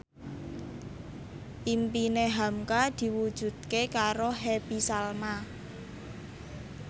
impine hamka diwujudke karo Happy Salma